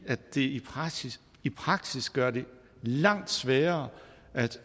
det i praksis i praksis gør det langt sværere at